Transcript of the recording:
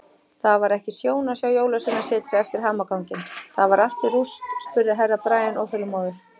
Það var ekki sjón að sjá Jólasveinasetrið eftir hamaganginn, það var allt í rúst spurði Herra Brian óþolinmóður.